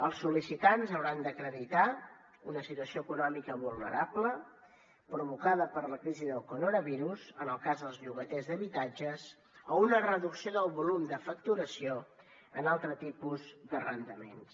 els sol·licitants hauran d’acreditar una situació econòmica vulnerable provocada per la crisi del coronavirus en el cas dels llogaters d’habitatges o una reducció del volum de facturació en altre tipus de arrendaments